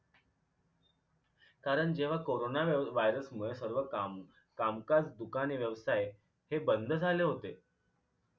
कारण जेव्हा corona virus मुळे सर्व काम कामकाज दुकाने व्यवसाय हे बंद झाले होते